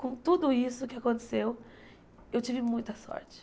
Com tudo isso que aconteceu, eu tive muita sorte.